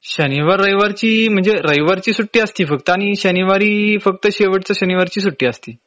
शनिवार रविवार ची म्हंजे रविवार ची सुट्टी असती फक्त आणि शनिवारी फक्त शेवटच्या शनिवार ची सुट्टी असती.